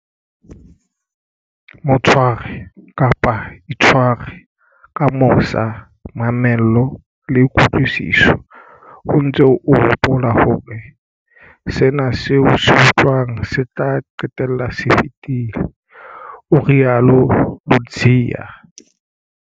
Mo tshware, kapa itshware, ka mosa, mamello le kutlwisiso, o ntse o hopola hore sena seo o se utlwang se tla qetella se fetile, o rialo Ludziya.